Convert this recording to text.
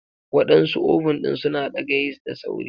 Waɗansu oven ɗin suna ɗaga yeast da sauri.